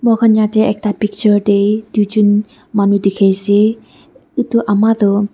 moikhan yetey ekta picture tey duijun manu dikhi ase utu ama do--